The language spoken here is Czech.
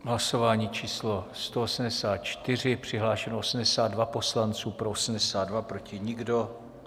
Hlasování číslo 184, přihlášeno 82 poslanců, pro 82, proti nikdo.